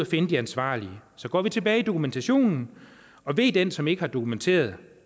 finde de ansvarlige så går vi tilbage i dokumentationen og ve den som ikke har dokumenteret